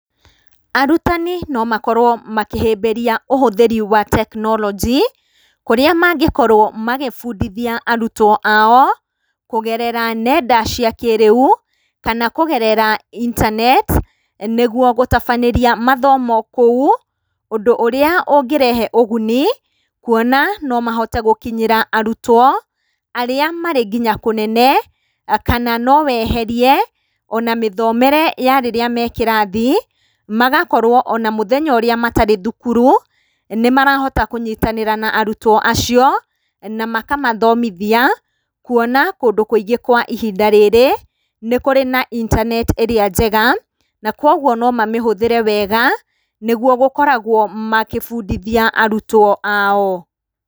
Arutani no makorwo makĩhĩbĩria ũhũthiri wa tekinoronji kũrĩa mangĩkorwo magĩbundithia arutwo ao, kũgerera nenda cia kĩrĩu, kana kũgerera intaneti, nĩguo gũtabanĩria mathomo kũu, ũndũ ũria ũngĩrehe ũguni, kuona no mahote gũkinyĩra arutwo, arĩa marĩ nginya kũnene, kana no weherie, ona mĩthomere ya rĩrĩa me kĩrathi, magakorwo ona mũthenya ũrĩa matarĩ thukuru, nĩ marahota kũnyiktanĩra na arutwo acio, na makamathomithia, kuona kũndũ kũingĩ kwa ihinda rĩrĩ, nĩ kũrĩ na intaneti ĩria njega, na kwoguo no mamĩhũthĩre wega, nĩguo gũkoragwo magĩbundithia arutwo ao.